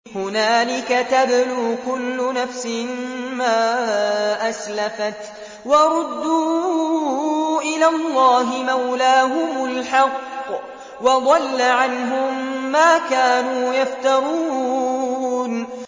هُنَالِكَ تَبْلُو كُلُّ نَفْسٍ مَّا أَسْلَفَتْ ۚ وَرُدُّوا إِلَى اللَّهِ مَوْلَاهُمُ الْحَقِّ ۖ وَضَلَّ عَنْهُم مَّا كَانُوا يَفْتَرُونَ